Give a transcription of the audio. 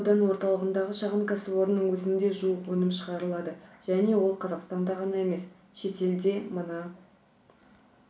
міне аудан орталығындағы шағын кәсіпорынның өзінде жуық өнім шығарылады және ол қазақстанда ғана емес шетелде мына